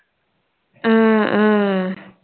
ஆஹ் அஹ்